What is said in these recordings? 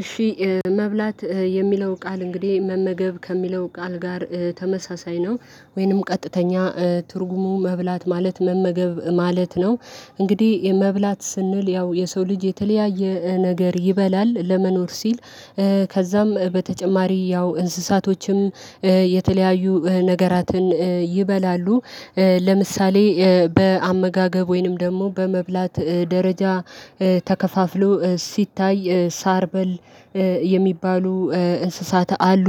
እሺ መብላት የሚለው ቃል እንግዲህ መመገብ ከሚለው ቃል ጋር ተመሳሳይ ነው ወይንም ቀጥተኛ ትርጉሙ መብላት ማለት መመገብ ማለት ነው። እንግዲህ የመብላት ስንል ያው የሰው ልጅ የተለያየ ነገር ይበላል ለመኖር ሲል። ከዛም በተጨማሪ ያው እንስሳቶችም የተለያዩ ነገራትን ይበላሉ። ለምሳሌ በአመጋገብ ወይንም ደግሞ በመብላት ደረጃ ተከፋፍሎ ሲታይ ሳር በል የሚባሉ እንስሳት አሉ።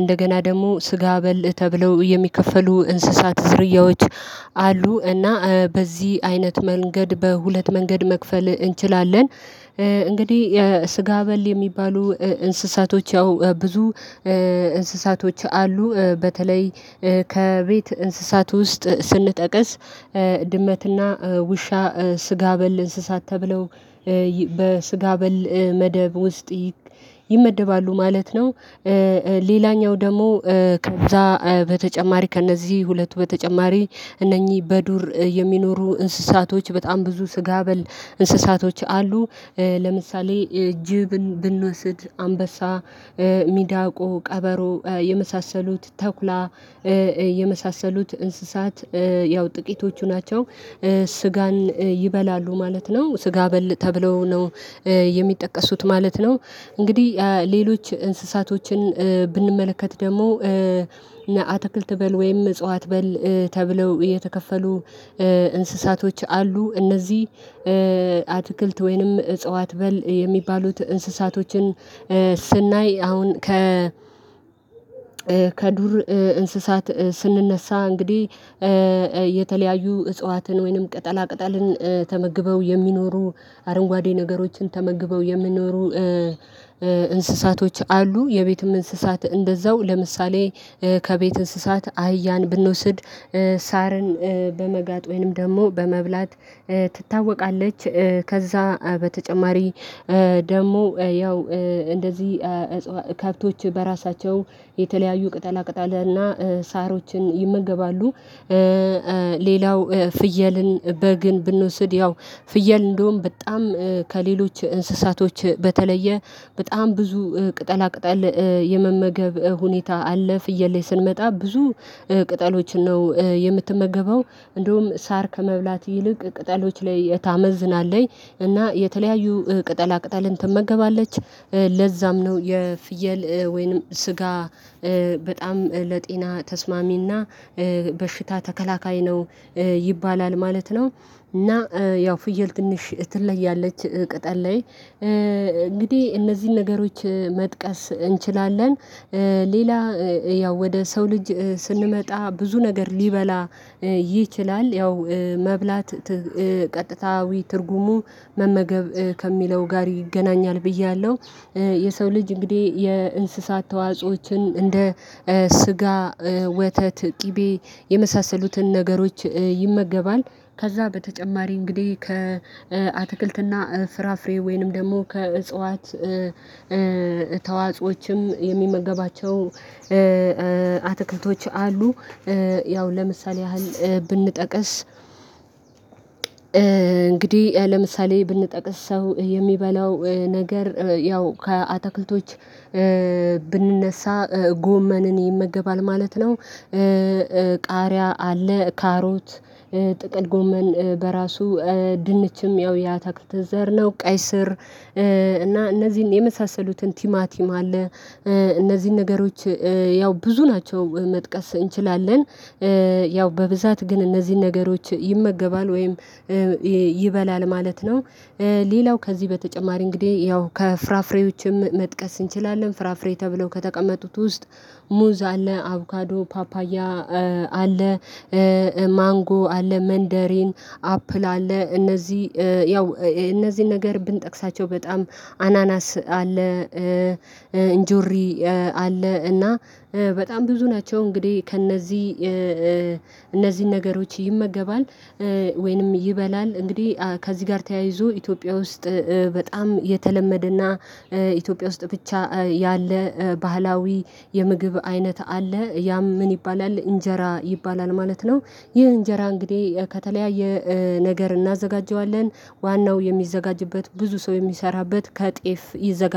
እንደገና ደግሞ ስጋ በል ተብለው የሚከፈሉ እንስሳት ዝርያዎች። አሉ እና በዚህ አይነት መንገድ በሁለት መንገድ መክፈል እንችላለን። እንግዲህ ስጋ በል የሚባሉ እንስሳቶች ያው ብዙ እንስሳቶች አሉ። በተለይ ከቤት እንስሳት ውስጥ ስንጠቅስ ድመትና ውሻ ስጋ በል እንስሳት ተብለው በስጋ በል መደብ ውስጥ ይመደባሉ ማለት ነው። ሌላኛው ደግሞ ከዛ በተጨማሪ ከእነዚህ ሁለቱ በተጨማሪ እነኚህ በዱር የሚኖሩ እንስሳቶች በጣም ብዙ ስጋ በል እንስሳቶች አሉ። ለምሳሌ ጅብን ብንወስድ አንበሳ ሚዳቆ ቀበሮ የመሳሰሉት ተኩላ የመሳሰሉት እንስሳት ያው ጥቂቶቹ ናቸው። ስጋን ይበላሉ ማለት ነው ስጋ በል ተብለው ነው የሚጠቀሱት ማለት ነው። እንግዲህ ሌሎች እንስሳቶችን ብንመለከት ደግሞ አትክልት በል ወይም እጽዋት በል ተብለው የተከፈሉ እንስሳቶች አሉ። እነዚህ አትክልት ወይም እጽዋት በል የሚባሉት እንስሳቶችን ስናይ አሁን ከ ከዱር እንስሳት ስንነሳ እንግዲህ የተለያዩ እጽዋትን ወይንም ቅጠላ ቅጠልን ተመግበው የሚኖሩ አረንጓዴ ነገሮችን ተመግበው የምንኖሩ እንስሳቶች አሉ። የቤትም እንስሳት እንደዛው ለምሳሌ ከቤት እንስሳት አህያን ብንወስድ ሳርን በመጋጥ ወይንም ደግሞ በመብላት ትታወቃለች። ከዛ በተጨማሪ ደግሞ ያው እንደዚህ ከብቶች በራሳቸው የተለያዩ ቅጠላቅጠል እና ሳሮችን ይመገባሉ። እሺ መብላት የሚለው ቃል እንግዲህ መመገብ ከሚለው ቃል ጋር ተመሳሳይ ነው ወይንም ቀጥተኛ ትርጉሙ መብላት ማለት መመገብ ማለት ነው። እንግዲህ የመብላት ስንል ያው የሰው ልጅ የተለያየ ነገር ይበላል ለመኖር ሲል ቅጠሎችን ነው የምትመገበው። እንደውም ሳር ከመብላት ይልቅ ቅጠሎች ላይ ታመዝናለይ እና የተለያዩ ቅጠላ ቅጠልን ትመገባለች። ለዛም ነው የፍየል ወይንም ስጋ በጣም ለጤና ተስማሚ እና በሽታ ተከላካይ ነው ይባላል ማለት ነው። እና ያው ፍየል ትንሽ ትለያለች ቅጠል ላይ እንግዲህ እነዚህን ነገሮች መጥቀስ እንችላለን። ሌላ ያው ወደ ሰው ልጅ ስንመጣ ብዙ ነገር ሊበላ ይችላል ያው መብላት ት ቀጥታዊ ትርጉሙ መመገብ ከሚለው ጋር ይገናኛል ብያለሁ። የሰው ልጅ እንግዲህ የእንስሳት ተዋጽኦዎችን እንደ ስጋ ወተት ቂቤ የመሳሰሉትን ነገሮች ይመገባል። ከዛ በተጨማሪ እንግዲህ ከአትክልት እና ፍራፍሬ ወይንም ደግሞ ከእጽዋት ተዋጽኦዎችም የሚመገባቸው አትክልቶች አሉ። ያው ለምሳሌ ያህል ብንጠቅስ እንግዲህ ለምሳሌ ብንጠቅስ ሰው የሚበላው ነገር ያው ከአታክልቶች ብንነሳ ጎመንን ይመገባል ማለት ነው። ቃሪያ አለ ካሮት ጥቅል ጎመን በራሱ ድንችም ያው የአታክልት ዘር ነው ቀይ ስር እና እነዚህን የመሳሰሉትን ቲማቲም አለ እነዚህን ነገሮች ያው ብዙ ናቸው መጥቀስ እንችላለን። ያው በብዛት ግን እነዚህን ነገሮች ይመገባል ወይም ይ ይበላል ማለት ነው። ሌላው ከዚህ በተጨማሪ እንግዲህ ያው ከፍራፍሬዎችም መጥቀስ እንችላለን ፍራፍሬ ተብለው ከተቀመጡት ውስጥ ሙዝ አለ አቦካዶ ፓፓያ አለ። ማንጎ አለ መንደሪን አፕል አለ እነዚህ ያው እ እነዚህን ነገር ብንጠቅሳቸው በጣም አናናስ አለ። ኢንጆሪ አለ እና በጣም ብዙ ናቸው እንግዲህ ከእነዚህ እነዚህን ነገሮች ይመገባል። ወይንም ይበላል እንግዲህ ከዚህ ጋር ተያይዞ ኢትዮጵያ ውስጥ በጣም የተለመደ እና ኢትዮጵያ ውስጥ ብቻ ያለ ባህላዊ የምግብ አይነት አለ ያም ምን ይባላል እንጀራ ይባላል ማለት ነው። ይህ እንጀራ እንግዲህ ከተለያየ ነገር እናዘጋጀዋለን ዋናው የሚዘጋጅበት ብዙ ሰው የሚሰራበት ከጤፍ ይዘጋ